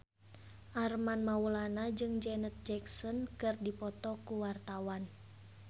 Armand Maulana jeung Janet Jackson keur dipoto ku wartawan